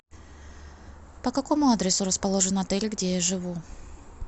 по какому адресу расположен отель где я живу